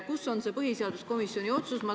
Kus on see põhiseaduskomisjoni otsus?